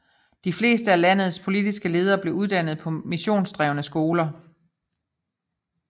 De fleste af landets politiske ledere blev uddannet på missionsdrevne skoler